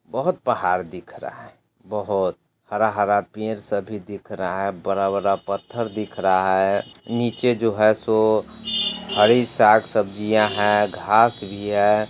बहुत पहाड़ दिख रहा है बहुत हरा-हरा पेड़ सब भी दिख रहा है बड़ा-बड़ा पत्थर दिख रहा है निचे जो है सो हरी साग-सब्जियां है घास भी है।